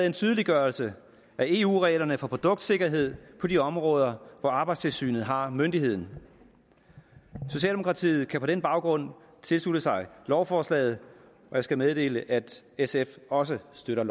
en tydeliggørelse af eu reglerne for produktsikkerhed på de områder hvor arbejdstilsynet har myndigheden socialdemokratiet kan på den baggrund tilslutte sig lovforslaget og jeg skal meddele at sf også støtter